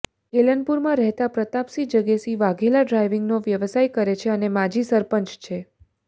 કેલનપુરમાં રહેતાં પ્રતાપસિંહ જગેસિંહ વાઘેલા ડ્રાઇવિંગનો વ્યવસાય કરે છે અને માજી સરપંચ છે